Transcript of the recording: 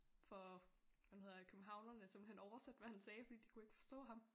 For hvad nu hedder det københavnerne simpelthen oversætte hvad han sagde fordi de kunne ikke forstå ham